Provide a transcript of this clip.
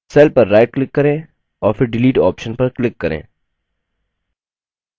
cell पर right click करें और फिर delete option पर click करें